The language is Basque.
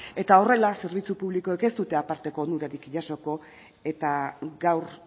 eta horrela zerbitzu publikoek ez dute aparteko onurarik jasoko eta gaur